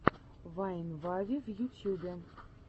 вайн вави в ютьюбе